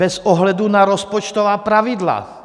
Bez ohledu na rozpočtová pravidla.